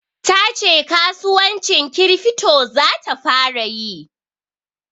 Ta ce kasuwancin kirifto za ta fara yi.